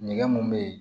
Nɛgɛ mun bɛ ye